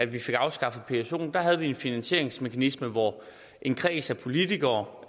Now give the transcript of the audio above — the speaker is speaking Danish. vi fik afskaffet psoen havde vi en finansieringsmekanisme hvor en kreds af politikere